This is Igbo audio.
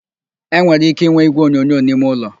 E nwere ike inwe igwe onyonyo n'ime ụlọ